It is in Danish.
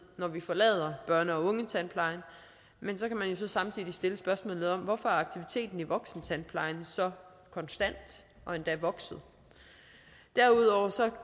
når de forlader børne og ungetandplejen men så kan man jo samtidig stille spørgsmålet om hvorfor aktiviteten i voksentandplejen så er konstant og endda vokset derudover